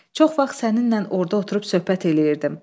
Çox vaxt səninlə orda oturub söhbət eləyirdim.